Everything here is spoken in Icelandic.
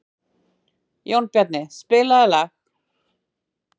Jónbjarni, spilaðu lag.